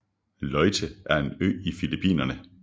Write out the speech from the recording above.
Leyte er en ø i Filippinerne